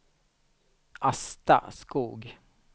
Asta Skoog